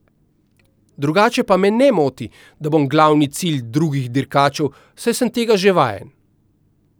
Drugače pa me ne moti, da bom glavni cilj drugih dirkačev, saj sem tega že vajen.